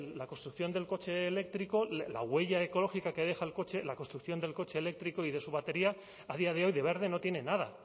la construcción del coche eléctrico la huella ecológica que deja el coche la construcción del coche eléctrico y de su batería a día de hoy de verde no tiene nada